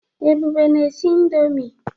Ebube na-esi indọmii.